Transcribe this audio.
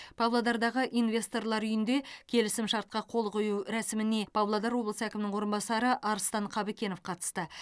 павлодардағы инвесторлар үйінде келісімшартқа қол қою рәсіміне павлодар облысы әкімінің орынбасары арыстан қабыкенов қатысты